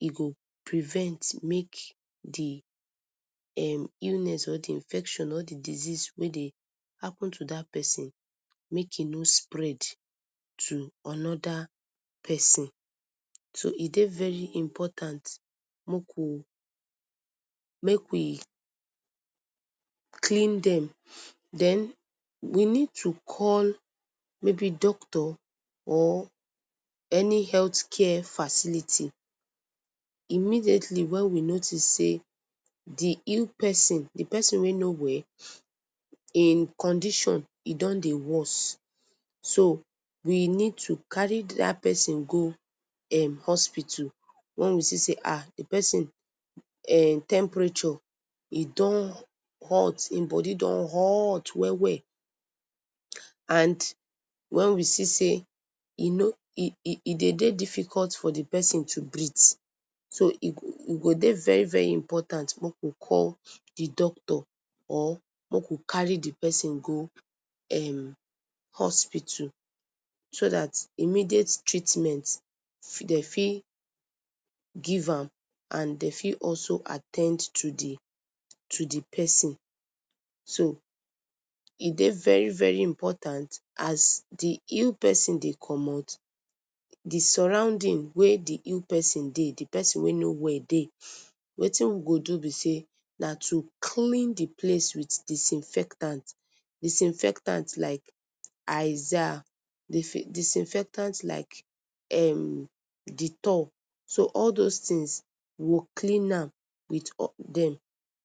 e go prevent make d um illness or d infection or d disease wey dey happen to dat persin make e no spread to anoda persin, so e dey very important make we make we clean dem, den we need to call mayb doctor or any health care facility immediately wen we notice sey d ill persin, d persin wey no well hin condition e don dey worse, so we need to carry dat persin go um hospital wen we see sey ahh d persin um temperature hin don hot hin body don hot well well and wen we see sey e nor e e e dey dey difficult for d persin to breathe so e go dey very very important make we call d doctor or make we carry d persin go um hospital so dat, immediate treatment dem fit give am and dem fit also at ten d to d to d persin, so e dey very very important as d ill persin de commot d surrounding wey d ill persin dey, d persin wey no well dey, wetin we go do be say na to clean d place with disinfectant, disinfectant like izaal, dis disinfectant like um Dettol, so all those things we go clean am with hot dem.